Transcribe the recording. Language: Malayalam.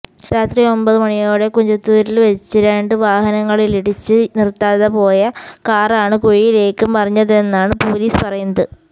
രാത്രി ഒമ്പത് മണിയോടെ കുഞ്ചത്തൂരില് വെച്ച് രണ്ട് വാഹനങ്ങളിലിടിച്ച് നിര്ത്താതെ പോയ കാറാണ് കുഴിയിലേക്ക് മറിഞ്ഞതെന്നാണ് പൊലീസ് പറയുന്നത്